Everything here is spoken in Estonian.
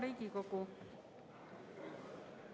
Hea Riigikogu!